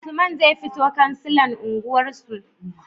Usman zai fito kansilan unguwar su